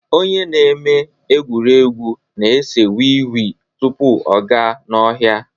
Onye na-eme egwuregwu na-ese wii wii tupu ọ gaa n'ọhịa